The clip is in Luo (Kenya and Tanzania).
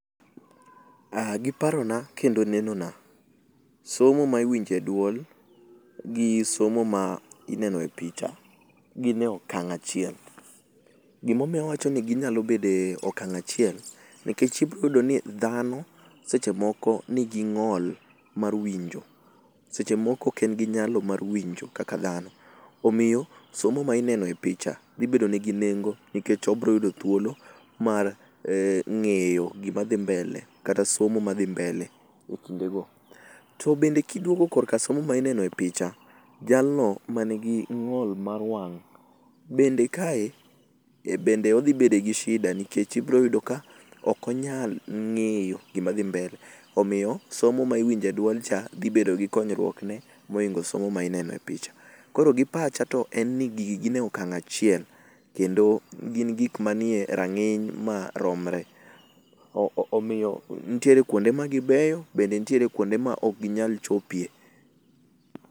Giparona kendo neno na somo ma iwinje duol gi somo ma ineno e pich agine okang acchiel. Gima omiyo awacho ni ginyalo bede e okang achiel nikech ibo yudo ni dhano seche moko nigi ngol mar winjo seche moko oken gi nyalo mar winjo kaka dhano, omiyo somo mar picha dhi bedo ne gi nengo nikech obro yudo thuolo mar ngeyo gima dhi mbele ekindego. To bende kiduogo e somo minene picha, jalno manigi ng'ol mar wang bende kae bende odhi bedo gi shida nikech ibro yudo ka ok onyal ngeyo gima dhi mbele, omiyo somo ma iwinje duol cha dhi bedo gi konyruok ne moloyo somo minene picha. Koro gi pacha to en ni gigi nie okang achiel kendo gin gik manie ranginy maromre omiyo nitie kuonde ma gibeyo gi kuonde ma ok ginyal chopie